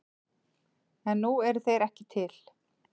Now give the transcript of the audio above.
En nú eru þeir ekki til.